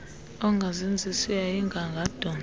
engazenzisiyo yayinga angadontsa